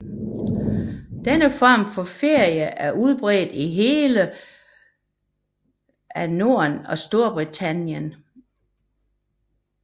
Denne form for ferie er udbredt i hele af Norden og i Storbritannien